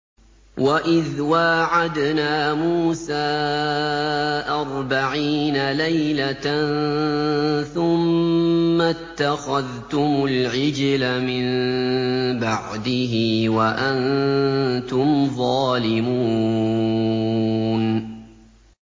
وَإِذْ وَاعَدْنَا مُوسَىٰ أَرْبَعِينَ لَيْلَةً ثُمَّ اتَّخَذْتُمُ الْعِجْلَ مِن بَعْدِهِ وَأَنتُمْ ظَالِمُونَ